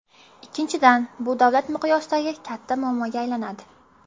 Ikkinchidan, bu davlat miqyosidagi katta muammoga aylanadi.